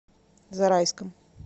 зарайском